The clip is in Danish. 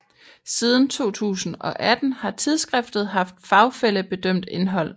Siden 2018 har tidsskriftet haft fagfællebedømt indhold